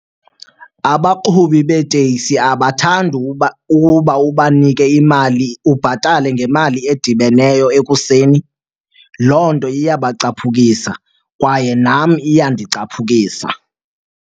Abaqhubi beeteksi abathandi ukuba ubanike imali, ubhatale ngemali edibeneyo ekuseni. Loo nto iyabacaphukisa kwaye nam iyandicaphukisa.